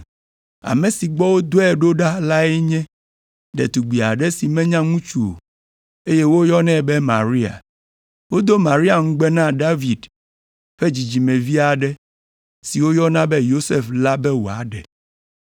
Ame si gbɔ wòdɔe ɖo la nye ɖetugbi aɖe si menya ŋutsu o, eye woyɔnɛ be Maria. Wodo Maria ŋugbe na David ƒe dzidzimevi aɖe si woyɔna be Yosef la be wòaɖe.